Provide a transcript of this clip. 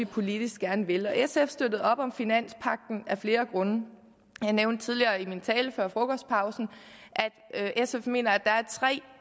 politisk gerne vil og sf støttede op om finanspagten af flere grunde jeg nævnte tidligere i min tale før frokostpausen at sf mener at